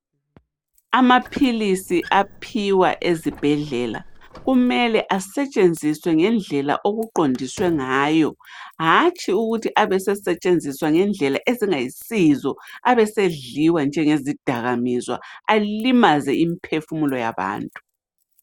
Amaphilisi aphiwa ezibhedlela, kumele asetshenziswe ngendlela okuqondiswe ngayo. Hatshi ukuthi abesesetshenziswa ngendlela ezingayisizo abesedliwa njengezidakamizwa alimaze imiphefumulo yabantu.